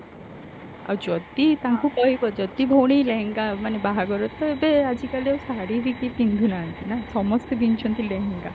ଆଉ ଯଦି ତାଙ୍କୁ କହିବ ଯଦି ଭଉଣୀ ଲେହେଙ୍ଗା ମାନେ ବାହାଘର ତ ଏବେ ଆଜିକାଲି ଆଉ ଶାଢୀ ବି କେହି ପିନ୍ଧୁନାହାନ୍ତି ନା ସମସ୍ତେ ପିନ୍ଧୁଛନ୍ତି ଲେହେଙ୍ଗା